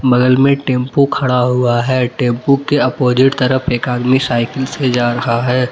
बगल में टेंपू खड़ा हुआ है। टेंपू के अपोजिट तरफ एक आदमी साइकिल से जा रहा है।